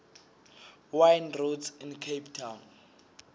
wine routes in cape town